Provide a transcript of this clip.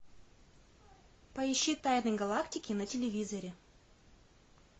поищи тайны галактики на телевизоре